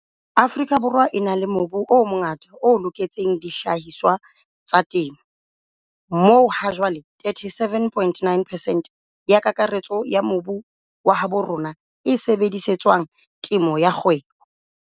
Afrika Borwa e na le mobu o mongata o loketseng dihlahiswa tsa temo, moo hajwale 37, 9 percent ya kakaretso ya mobu wa habo rona e sebedise tswang temo ya kgwebo.